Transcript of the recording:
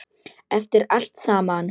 Eftir allt saman.